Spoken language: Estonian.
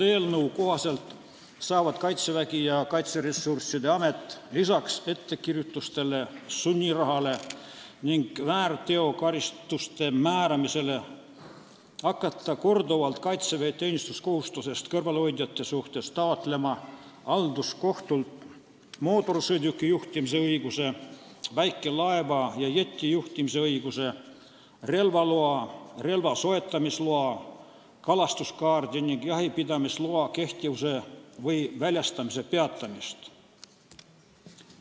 Eelnõu kohaselt saavad Kaitsevägi ja Kaitseressursside Amet lisaks ettekirjutustele, sunniraha ja väärteokaristuste määramisele hakata korduvalt Kaitseväe teenistuskohustusest kõrvalehoidjate suhtes taotlema halduskohtult mootorsõiduki juhtimise õiguse, väikelaeva ja jeti juhtimise õiguse, relvaloa, relva soetamisloa, kalastuskaardi ning jahipidamisloa kehtivuse või väljastamise peatamist.